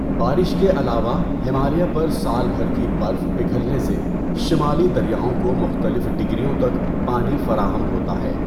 بارش کے علاوہ، ہمالیہ پر سال بھر کی برف پگھلنے سے شمالی دریاؤں کو مختلف ڈگریوں تک پانی فراہم ہوتا ہے۔